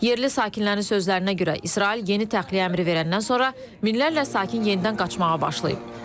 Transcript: Yerli sakinlərin sözlərinə görə, İsrail yeni təxliyə əmri verəndən sonra minlərlə sakin yenidən qaçmağa başlayıb.